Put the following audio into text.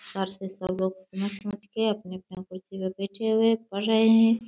Sir सब लोग समझ-समझ के अपने-अपने कुर्सी पे बैठे हुए हैं पढ़ रहे हैं।